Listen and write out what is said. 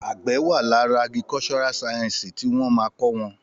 Àgbẹ wà làrá àgíríkọsọrà sàyẹnsí ti wón ma kọ́ wọn